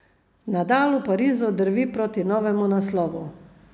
Nadal v Parizu drvi proti novemu naslovu.